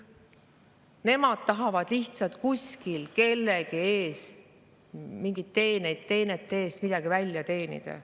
Nemad tahavad lihtsalt kuskil kelleltki mingite teenete eest midagi välja teenida.